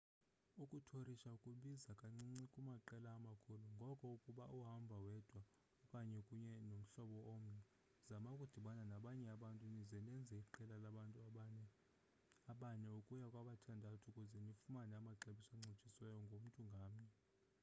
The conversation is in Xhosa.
ukuthorisha kubiza kancinci kumaqela amakhulu ngoko ukuba uhamba wedwa okanye ukunye nomhlobo omnye zama ukudibana nabanye abantu nize nenze iqela labantu abane ukuya kwabathandathu ukuze nifumane amaxabiso ancitshisiweyo ngomntu ngamnye